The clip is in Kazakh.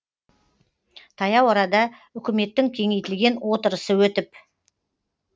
таяу арада үкіметтің кеңейтілген отырысы өтіп